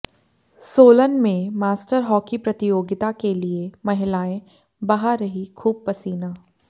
सोलन में master hockey प्रतियोगिता के लिए महिलाएं बहा रही खूब पसीना